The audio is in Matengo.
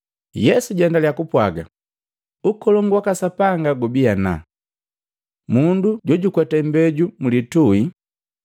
Yesu jaendalya kupwaga, “Ukolongu waka Sapanga gubii ana. Mundu jojukweta imbeju mlitui.